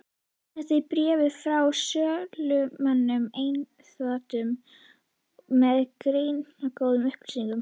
Þetta er bréf frá sölumönnum einkaþotu, með greinargóðum upplýsingum.